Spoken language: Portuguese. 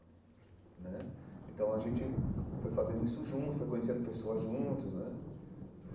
Né então a gente foi fazendo isso junto, foi conhecendo pessoas juntos né.